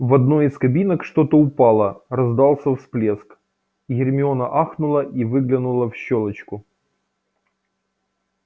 в одной из кабинок что-то упало раздался всплеск гермиона ахнула и выглянула в щёлочку